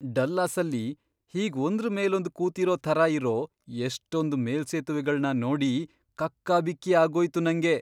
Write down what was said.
ಡಲ್ಲಾಸಲ್ಲಿ ಹೀಗ್ ಒಂದ್ರ್ ಮೇಲೊಂದ್ ಕೂತಿರೋ ಥರ ಇರೋ ಎಷ್ಟೊಂದ್ ಮೇಲ್ಸೇತುವೆಗಳ್ನ ನೋಡಿ ಕಕ್ಕಾಬಿಕ್ಕಿ ಆಗೋಯ್ತು ನಂಗೆ.